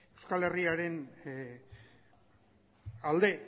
euskal herriaren alde